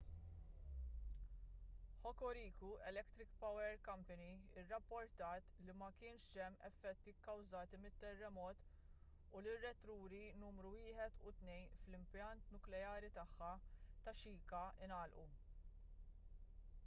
hokuriku electric power co irrapportat li ma kienx hemm effetti kkważati mit-terremot u li r-reatturi numru 1 u 2 fl-impjant nukleari tagħha ta' shika ngħalqu